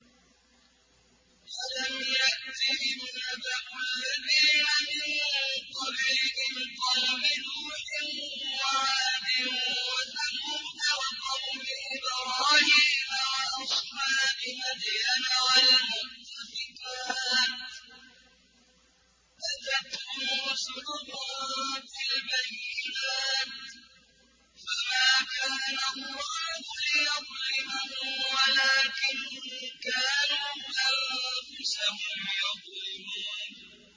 أَلَمْ يَأْتِهِمْ نَبَأُ الَّذِينَ مِن قَبْلِهِمْ قَوْمِ نُوحٍ وَعَادٍ وَثَمُودَ وَقَوْمِ إِبْرَاهِيمَ وَأَصْحَابِ مَدْيَنَ وَالْمُؤْتَفِكَاتِ ۚ أَتَتْهُمْ رُسُلُهُم بِالْبَيِّنَاتِ ۖ فَمَا كَانَ اللَّهُ لِيَظْلِمَهُمْ وَلَٰكِن كَانُوا أَنفُسَهُمْ يَظْلِمُونَ